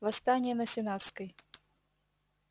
восстание на сенатской